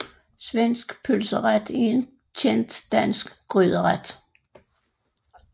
Svensk pølseret er en kendt dansk gryderet